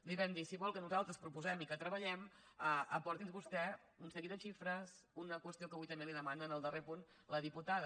li vam dir si vol que nosaltres proposem i que treballem aporti’ns vostè un seguit de xifres una qüestió que avui també li demana en el darrer punt la diputada